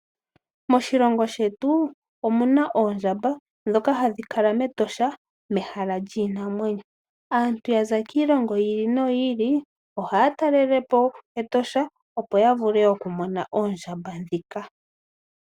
Moshilongo shetu omuna oondjamba ndhoka hadhi kala mEtosha mehala lyiinamwenyo. Aantu yaza kiilongo yi ili noyi ili ohaya talelepo Etosha, opo ya vule okumona oondjamba ndhika.